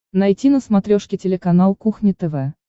найти на смотрешке телеканал кухня тв